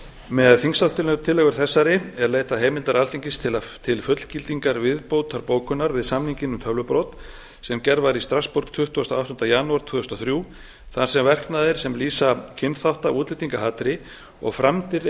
með þingsályktunartillögu þessari er leitað heimildar alþingis til fullgildingar viðbótarbókunar við samninginn um tölvubrot sem gerð var í strassborg tuttugasta og áttunda janúar tvö þúsund og þrjú þar sem verknaðir sem lýsa kynþátta og útlendingahatri og framdir